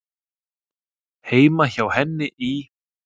Heima hjá henni í